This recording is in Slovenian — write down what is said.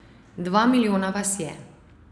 Dva milijona vas je.